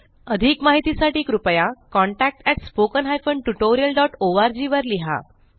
अधिक माहितीसाठी कृपया contactspoken tutorialorg वर लिहा